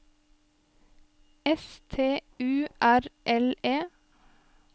S T U R L E